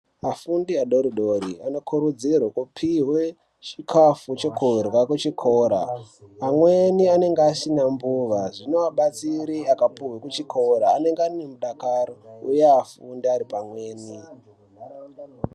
Afundi adoridori anokurudzirwe kupiwe chikafu chekurya kuchikora amweni anenge asina mbuva zvinovabatsire akapuhwa kuchikora anenge ane mudakaro uye afunde ari pamweni.